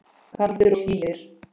Kaldir og hlýir.